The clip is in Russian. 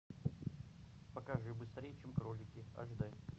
покажи быстрее чем кролики аш дэ